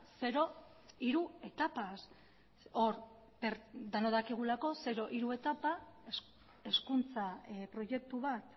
zero hiru etapaz hor denok dakigulako zero hiru etapa hezkuntza proiektu bat